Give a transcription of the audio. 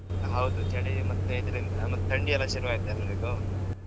ಹೌದು ಚಳಿ ಮತ್ತೆ ಇದ್ರಿಂದ, ಮತ್ತ್ ಥಂಡಿ ಎಲ್ಲ ಶುರು ಆಯ್ತ್ ಎಲ್ರಿಗೂ.